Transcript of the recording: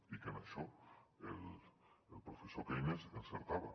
i que en això el professor keynes encertava